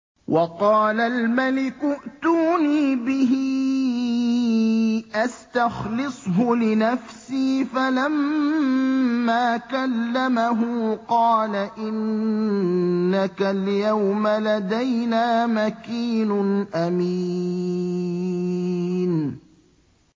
وَقَالَ الْمَلِكُ ائْتُونِي بِهِ أَسْتَخْلِصْهُ لِنَفْسِي ۖ فَلَمَّا كَلَّمَهُ قَالَ إِنَّكَ الْيَوْمَ لَدَيْنَا مَكِينٌ أَمِينٌ